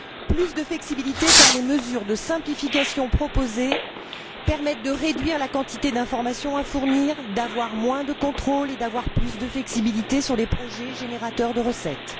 Plus de flexibilité car les mesures de simplification proposées permettent de réduire la quantité d'information à fournir, d'avoir moins de contrôles et d'avoir plus de flexibilité sur les projets générateurs de recettes.